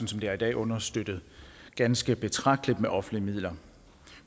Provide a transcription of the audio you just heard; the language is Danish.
som det er i dag understøttet ganske betragteligt med offentlige midler